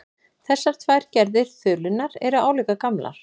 Þessar tvær gerðir þulunnar eru álíka gamlar.